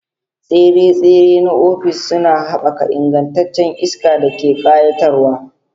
Tsire-tsire na ofis suna haɓaka ingancin iska da ƙayatarwa.